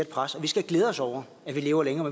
pres vi skal glæde os over at vi lever længere